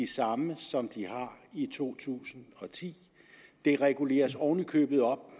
samme som de har i to tusind og ti det reguleres oven i købet op